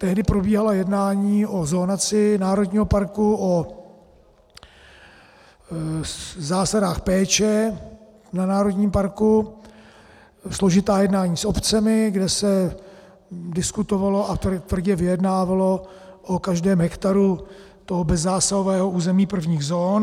Tehdy probíhala jednání o zonaci národního parku, o zásadách péče v národním parku, složitá jednání s obcemi, kde se diskutovalo a tvrdě vyjednávalo o každém hektaru toho bezzásahového území prvních zón.